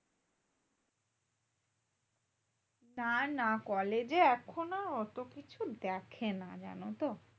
না না college এ এখনো অতকিছু দেখেনা জানতো?